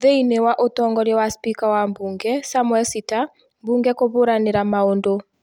Thĩinĩ wa ũtongoria wa spika wa bunge Samuel Sitta ,bunge kũhũranĩra maũndũ